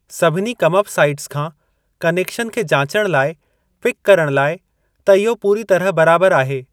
सभिनी camp sites खां connection खे जांचणु लाइ पिक करणु लाइ त इहो पूरी तरह बराबर आहे।